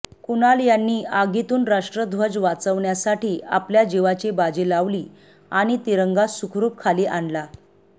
कुणाल यांनी आगीतून राष्ट्रध्वज वाचवण्यासाठी आपल्या जीवाची बाजी लावली आणि तिरंगा सुखरूप खाली आणला